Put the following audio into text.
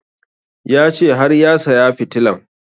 Ya ce har ya saya fitilan